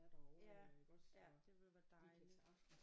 Ja ja det ville være dejligt